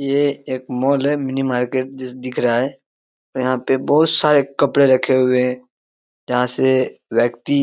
ये एक मॉल है मिनी मार्केट जहां दिख रहा है यहां पे बहुत सारे कपड़े रखे हुए हैं जहां से व्यक्ति